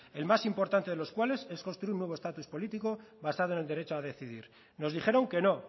el más importante de los cuales es construir un nuevo status político basado en el derecho a decidir nos dijeron que no